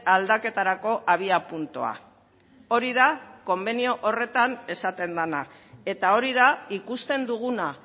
aldaketarako abiapuntua hori da konbenio horretan esaten dena eta hori da ikusten duguna